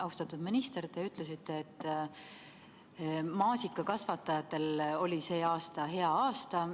Austatud minister, te ütlesite, et maasikakasvatajatele oli see aasta hea aasta.